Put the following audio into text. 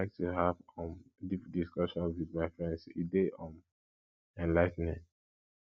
i like to have to have um deep discussions with my friends e dey um enligh ten ing